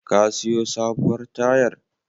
Ka siyo sabuwar tayar?